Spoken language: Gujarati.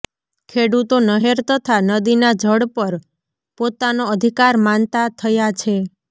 ખેડૂતો નહેર તથા નદીના જળ પર પોતાનો અધિકાર માનતા થયા છે